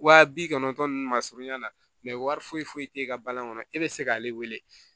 Wa bi kɔnɔntɔn nunnu ma surunya na mɛ wari foyi foyi te e ka balani kɔnɔ e be se k'ale wele